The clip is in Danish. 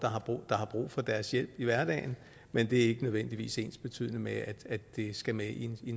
der har brug for deres hjælp i hverdagen men det er ikke nødvendigvis ensbetydende med at det skal med i